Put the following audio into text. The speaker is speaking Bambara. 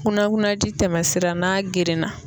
Kunnakunaji tɛmɛsira n'a gerenna